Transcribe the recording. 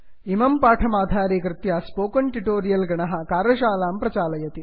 इमं पाठमाधारीकृत्य spoken tutorial गणः कार्यशालां प्रचालयति